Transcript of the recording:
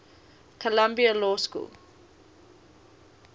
columbia law school